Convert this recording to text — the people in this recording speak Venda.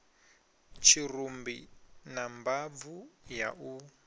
tshirumbi na mbabvu ya u